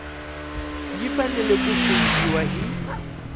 yi fanele ku funghiwa hi